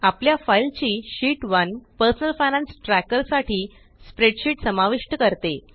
आपल्या फाइल ची sheet 1 personal finance tracker साठी स्प्रेडशीट समाविष्ट करते